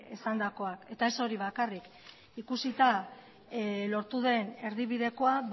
esandakoa eta ez hori bakarrik ikusita lortu den erdibidekoa